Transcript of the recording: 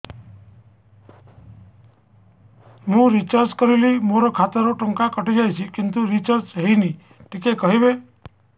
ମୁ ରିଚାର୍ଜ କରିଲି ମୋର ଖାତା ରୁ ଟଙ୍କା କଟି ଯାଇଛି କିନ୍ତୁ ରିଚାର୍ଜ ହେଇନି ଟିକେ କହିବେ